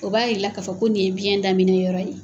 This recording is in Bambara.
O b'a jira i la k'a fɔ ko nin ye biyɛn daminɛ yɔrɔ ye.